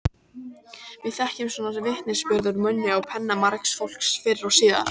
Við þekkjum svona vitnisburð úr munni og penna margs fólks fyrr og síðar.